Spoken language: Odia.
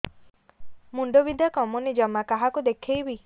ମୁଣ୍ଡ ବିନ୍ଧା କମୁନି ଜମା କାହାକୁ ଦେଖେଇବି